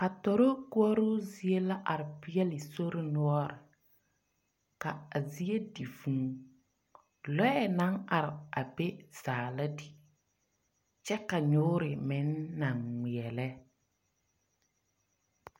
Atorokori zie na are peɛl a sori noɔre a zie na di vūū. Lɔɛ naŋ are a be zaa na di. Kyɛ ka nyoore meŋ naŋ ŋmeɛlɛ.